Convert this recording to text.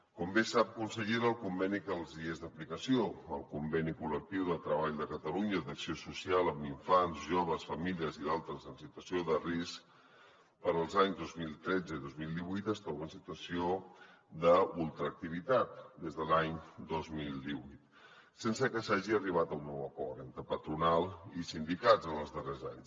com bé sap consellera el conveni que els hi és d’aplicació el conveni col·lectiu de treball de catalunya d’acció social amb infants joves famílies i d’altres en situació de risc per als anys dos mil tretze i dos mil divuit es troba en situació d’ultraactivitat des de l’any dos mil divuit sense que s’hagi arribat a un nou acord entre patronal i sindicats en els darrers anys